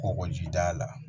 Kɔkɔjida la